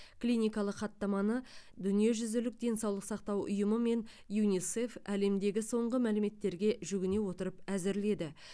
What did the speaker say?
клиникалық хаттаманы дүниежүзілік денсаулық сақтау ұйымы мен юнисеф әлемдегі соңғы мәліметтерге жүгіне отырып әзірледі